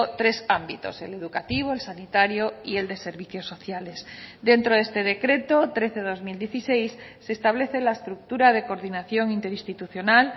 tres ámbitos el educativo el sanitario y el de servicios sociales dentro de este decreto trece barra dos mil dieciséis se establece la estructura de coordinación interinstitucional